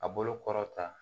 A bolo kɔrɔta